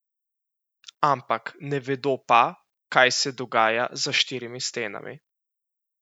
Ampak ne vedo pa, kaj se dogaja za štirimi stenami.